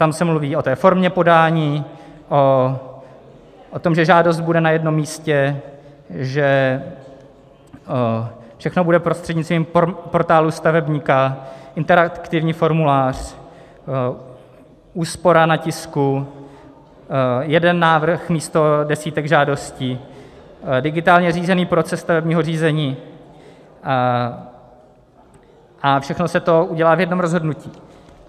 Tam se mluví o té formě podání, o tom, že žádost bude na jednom místě, že všechno bude prostřednictvím portálu stavebníka, interaktivní formulář, úspora na tisku, jeden návrh místo desítek žádostí, digitálně řízený proces stavebního řízení, a všechno se to udělá v jednom rozhodnutí.